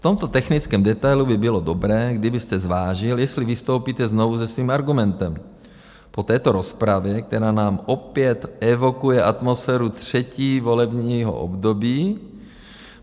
V tomto technickém detailu by bylo dobré, kdybyste zvážil, jestli vystoupíte znovu se svým argumentem po této rozpravě, která nám opět evokuje atmosféru třetího volebního období.